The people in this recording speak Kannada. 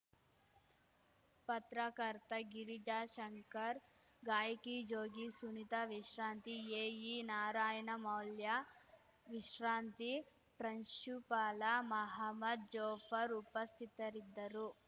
ಪತ್ರಕರ್ತ ಗಿರಿಜಾಶಂಕರ್ ಗಾಯಕಿ ಜೋಗಿ ಸುನೀತಾ ವಿಶ್ರಾಂತ ಎಇ ನಾರಾಯಣ ಮೌಲ್ಯ ವಿಶ್ರಾಂತಿ ಪ್ರಾಂಶುಪಾಲ ಮಹಮ್ಮದ್ ಜಾಪರ್ ಉಪಸ್ಥಿತರಿದ್ದರು